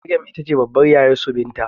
Maryam itace babbar yayarsu binta